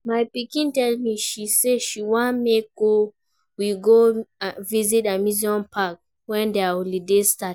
My pikin tell me say she wan make we go visit amusement park wen their holiday start